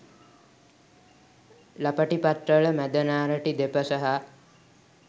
ළපටි පත්‍රවල මැද නාරටි දෙපස හා